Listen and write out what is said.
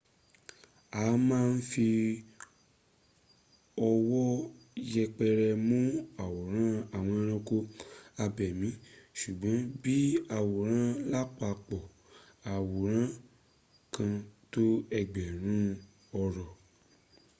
a ma ń fi ọwọ́ yẹpẹrẹ mún àwòrán àwọn ẹranko abẹ̀mí sùgbọ́n bí i àwòrán lápapọ̀ àwòrán kan tó ẹgbẹ̀rún ọ̀rọ̀